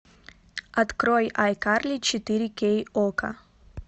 открой айкарли четыре кей окко